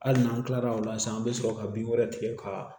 Hali n'an kilala o la sisan an bɛ sɔrɔ ka bin wɛrɛ tigɛ ka